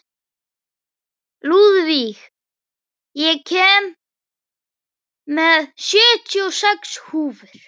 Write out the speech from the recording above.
Lúðvíg, ég kom með sjötíu og sex húfur!